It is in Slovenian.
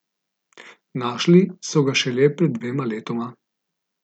Našli so ga šele pred dvema letoma.